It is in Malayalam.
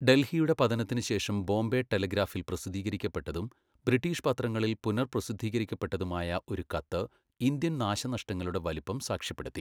ഡൽഹിയുടെ പതനത്തിനു ശേഷം ബോംബെ ടെലഗ്രാഫിൽ പ്രസിദ്ധീകരിക്കപ്പെട്ടതും ബ്രിട്ടീഷ് പത്രങ്ങളിൽ പുനർപ്രസിദ്ധീകരിക്കപ്പെട്ടതുമായ ഒരു കത്ത് ഇന്ത്യൻ നാശനഷ്ടങ്ങളുടെ വലുപ്പം സാക്ഷ്യപ്പെടുത്തി.